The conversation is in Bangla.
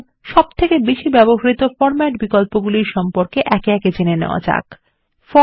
এখন বহুল ব্যবহৃত বিন্যাস বিকল্পগুলির সম্পর্কে একে একে জেনে নেওয়া যাক